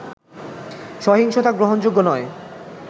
সহিংসতা গ্রহণযোগ্য নয়